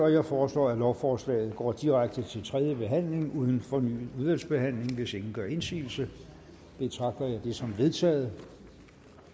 jeg foreslår at lovforslaget går direkte til tredje behandling uden fornyet udvalgsbehandling hvis ingen gør indsigelse betragter jeg det som vedtaget